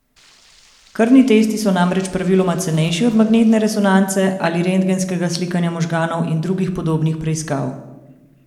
Krvni testi so namreč praviloma cenejši od magnetne resonance ali rentgenskega slikanja možganov in drugih podobnih preiskav.